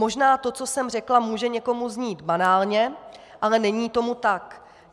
Možná to, co jsem řekla, může někomu znít banálně, ale není tomu tak.